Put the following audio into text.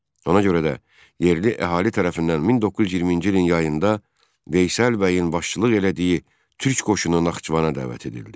Ona görə də yerli əhali tərəfindən 1920-ci ilin yayında Veysəl bəyin başçılıq elədiyi türk qoşunu Naxçıvana dəvət edildi.